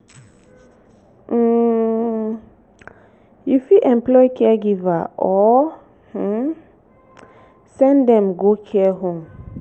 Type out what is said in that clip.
um you fit employ caregiver or um send dem go care home